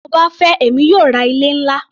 Bí mo bá fẹ́ èmi yóò ra ilé-ńlá.